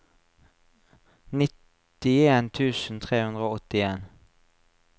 nittien tusen tre hundre og åttien